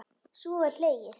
Svo er hlegið.